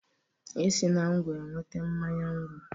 E si na ngwọ enweta mmanya ngwọ.